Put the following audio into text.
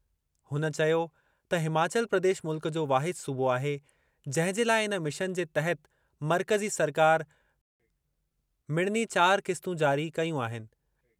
हुन चयो त हिमाचल प्रदेश मुल्क जो वाहिद सूबो आहे जंहिं जे लाइ इन मिशन जे तहत मर्कज़ी सरकार मिड़नी चार क़िस्तूं जारी कयूं आहिनि।